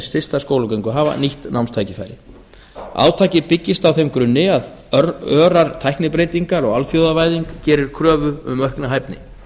stysta skólagöngu hafa nýtt námstækifæri átakið byggist á þeim grunni að örar tæknibreytingar og alþjóðavæðing gerir kröfu um aukna hæfni